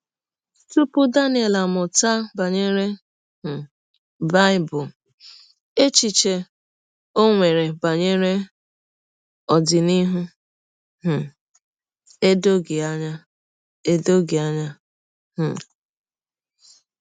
Tupu Daniel amụta banyere um Bible, echiche o nwere banyere ọdịnihu um edoghị anya. edoghị anya. um